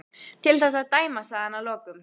Til þess að dæma sagði hann að lokum.